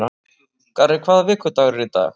Garri, hvaða vikudagur er í dag?